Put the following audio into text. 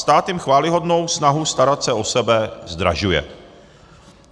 Stát jim chvályhodnou snahu starat se o sebe zdražuje.